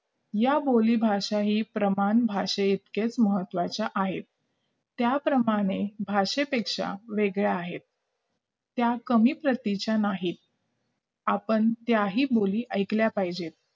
या बोलीभाषा ही प्रमाण भाषा इतकेच महत्त्वाचे आहे त्याप्रमाणे भाषेपेक्षा वेगळे आहेत त्या कमी प्रतीच्या नाहीत आपण त्याही बोली ऐकल्या पाहिजे